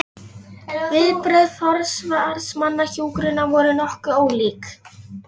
Meðan á þessu stóð, sótti önnur flugvélanna aftur að kafbátnum.